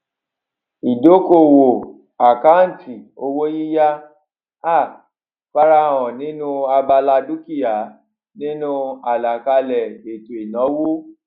ìdókòwò àkáǹtì owó yíyá um farahàn nínú abala dúkìá nínu àlàkalè ètò ìnáwó